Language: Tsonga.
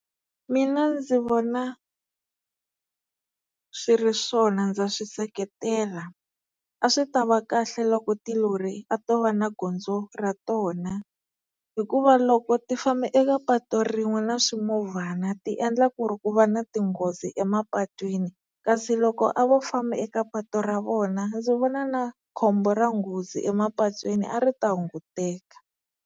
Mina ndzi vona swi ri swona ndza swi seketela a swi ta va kahle loko tilori a to va na gondzo ra tona, hikuva loko ti famba eka patu rin'we na swimovhana tiendla ku ri ku va na tinghozi emapatwini, kasi loko a vo famba eka patu ra vona ndzi vona na khombo ra nghozi emapatwini a ri ta hunguteka.